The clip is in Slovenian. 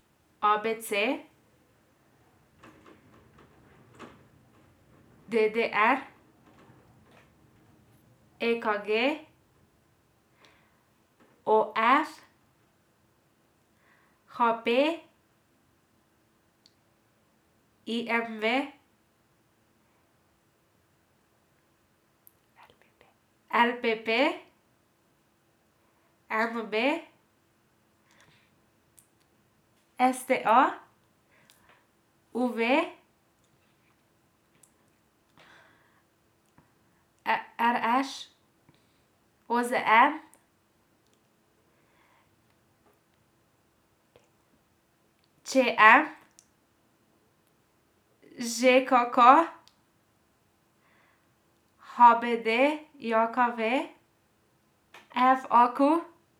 ABC, DDR, EKG, OF, HP, IMV, LPP, NOB, STA, UV, RŠ, OZN, ČM, ŽKK, HBDJKV, FAQ.